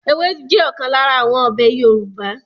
Ewédú jẹ́ ọ̀kan lára àwọn ọbẹ̀ Yorùbá